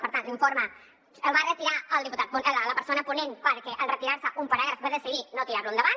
per tant l’informe el va retirar el diputat la persona ponent perquè en retirar se un paràgraf va decidir no tirar lo endavant